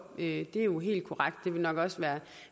det er jo helt korrekt det ville nok også